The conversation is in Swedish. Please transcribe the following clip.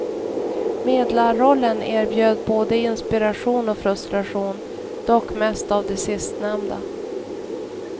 Medlarrollen erbjöd både inspiration och frustration, dock mest av det sistnämnda.